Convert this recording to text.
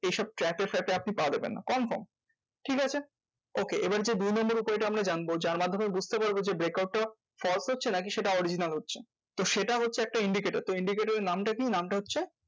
এই সব trap এ ফাফে আপনি পা দিবেননা confirm. ঠিক আছে okay আবার যে দুই number point টা আমরা জানবো যার মাধ্যমে বুঝতে পারবো যে break out টা false হচ্ছে নাকি সেটা original হচ্ছে? তো সেটা হচ্ছে একটা indicator তো indicator এর নামটা কি? নামটা হচ্ছে